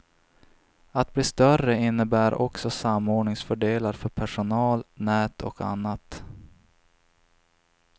Att bli större innebär också samordningsfördelar för personal, nät och annat.